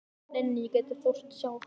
Nei, nei, ég gæti þóst sjá þá.